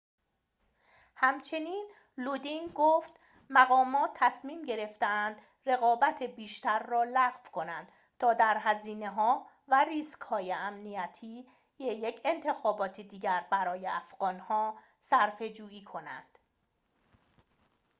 همچنین لودین گفت مقامات تصمیم گرفتند رقابت بیشتر را لغو کنند تا در هزینه‌ها و ریسک‌های امنیتی یک انتخابات دیگر برای افغان‌ها صرفه‌جویی کنند